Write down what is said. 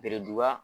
Bereduba